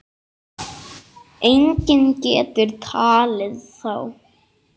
Enginn getur talið þá.